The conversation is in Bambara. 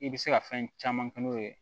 I bɛ se ka fɛn caman kɛ n'o ye